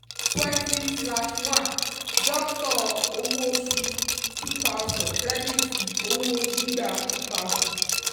twenty slash one doctor owó oṣù two thousand credit owó gbígbà two thousand.